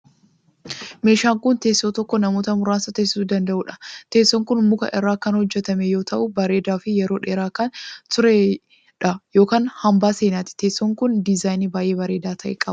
Mwwshaan kun, teessoo tokko namoota muraasa teesisuu danda'uu dha. Teessoon kun muka irraa kan hojjatame yoo ta'u, bareedaa fi yeroo dheeraa kan turee dha yokin hambaa seenaati. Teessoon kun, dizaayinii baay'ee bareedaa ta'e qaba.